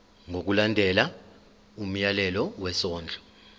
ngokulandela umyalelo wesondlo